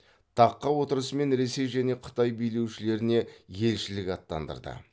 таққа отырысымен ресей және қытай билеушілеріне елшілік аттандырды